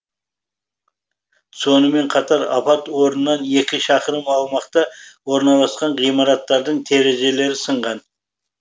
сонымен қатар апат орнынан екі шақырым аумақта орналасқан ғимараттардың терезелері сынған